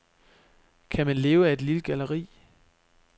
Kan man leve af et lille galleri?